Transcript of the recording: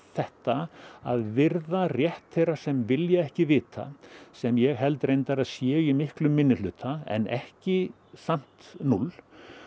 þetta að virða rétt þeirra sem vilja ekki vita sem ég held reyndar að séu í miklu minnihluta en ekki samt núll